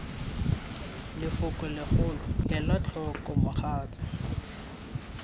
leloko legolo ela tlhoko mogatsa